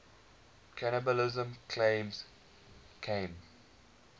cannibalism claims came